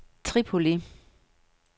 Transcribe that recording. Tripoli